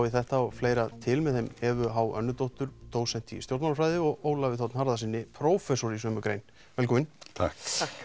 í þetta og fleira til með þeim Evu h dósent í stjórnmálafræði og Ólafi þ Harðarsyni prófessor í sömu grein velkomin takk